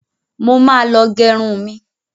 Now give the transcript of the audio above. Mo ma lọ gẹrun mi.